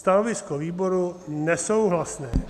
Stanovisko výboru: nesouhlasné.